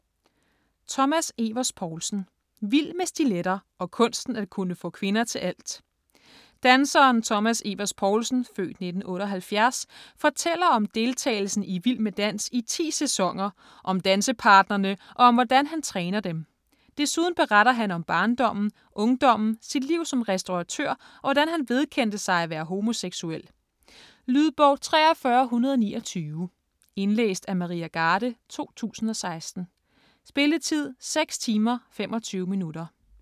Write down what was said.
Evers Poulsen, Thomas: Vild med stiletter: og kunsten at kunne få kvinder til alt Danseren Thomas Evers Poulsen (f. 1978) fortæller om deltagelsen i Vild med dans i 10 sæsoner, om dansepartnerne og om hvordan han træner dem. Desuden beretter han om barndommen, ungdommen, sit liv som restauratør og hvordan han vedkendte sig at være homoseksuel. Lydbog 43129 Indlæst af Maria Garde, 2016. Spilletid: 6 timer, 25 minutter.